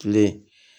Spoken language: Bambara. Kile